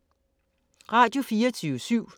Radio24syv